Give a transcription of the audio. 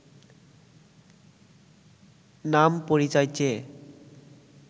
নাম পরিচয় চেয়ে